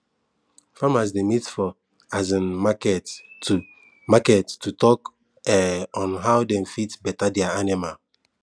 farmers dey meet for um market to market to talk um on how dem fit better their animal